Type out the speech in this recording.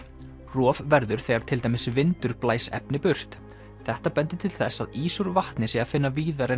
rof verður þegar til dæmis vindur blæs efni burt þetta bendir til þess að ís úr vatni sé að finna víðar en